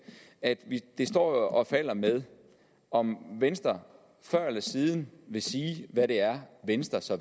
at det står og falder med om venstre før eller siden vil sige hvad det er venstre så